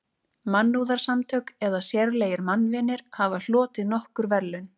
Mannúðarsamtök eða sérlegir mannvinir hafa hlotið nokkur verðlaun.